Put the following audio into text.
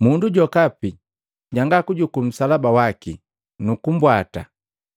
Mundu jokapi janga kujuku nsalaba waki nukumbwata